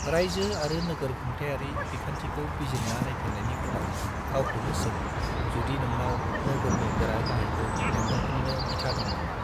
रायजो आरो नोगोर खुंथायारि बिखान्थिखौ बिजिरना नायफिननायनि उनाव, गावखौनो सों जुदि नोंनाव नोगोरनि गोरा-गाहायखौ लेंहरफिननो बिथा दं नामा।